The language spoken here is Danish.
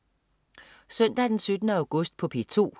Søndag den 17. august - P2: